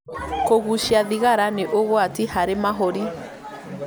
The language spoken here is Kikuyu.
Kũgucia thigara nĩ ũgwati harĩ mahũri